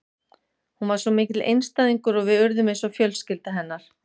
Hún var svo mikill einstæðingur og við urðum eins og fjölskylda hennar.